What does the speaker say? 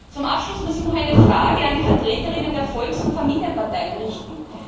Zum Abschluss muss ich noch eine Frage an die VertreterInnen der Volks und Familienparteien richten.